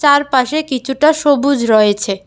তার পাশে কিছুটা সবুজ রয়েছে।